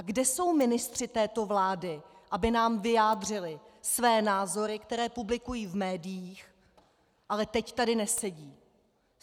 A kde jsou ministři této vlády, aby nám vyjádřili své názory, které publikují v médiích, ale teď tady nesedí?